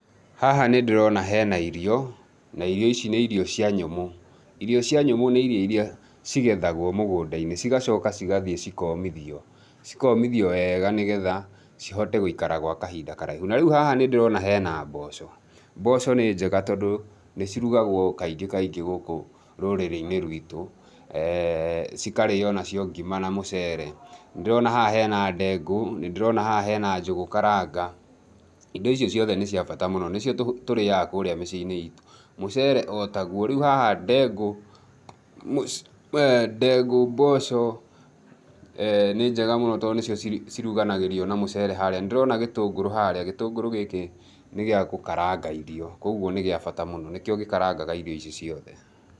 Haha nĩ ndĩrona he na irio, na irio ici nĩ irio cia nyũmũ. Irio cia nyũmũ nĩ irio iria cigethagwo mũgũnda-inĩ cigacoka cigathiĩ cikoomithio, cikoomithio wega nĩ getha cihote gũikara kwa kahinda karaihu. Na rĩu haha nĩ ndĩrona he na mboco. Mboco nĩ njega tondũ nĩ cirugagwo kaingĩ kaingĩ gũkũ rũrĩrĩ-inĩ rwitũ, cikarĩĩo nacio ngima na mũcere. Nĩ ndĩrona haha he na ndengũ, nĩ ndĩrona haha he na njũgũ karanga, indo icio ciothe nĩ cia bata mũno, nĩcio tũrĩaga kũrĩa mĩciĩ-inĩ iitũ. Mucere, otaguo. Rĩu haha ndengũ, mboco nĩ njega mũno tondũ nĩcio ciruganagĩrio na mũcere harĩa, nĩ ndĩrona gĩtũngũrũ harĩa, gĩtũngũrũ gĩkĩ nĩ gĩa gũkaranga irio, kũoguo nĩ kĩa bata mũno. Nĩkĩo gĩkarangaga irio ici ciothe.